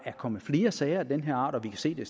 kommer flere sager af den her art og vi kan se det